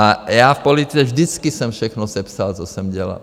A já v politice vždycky jsem všechno sepsal, co jsem dělal.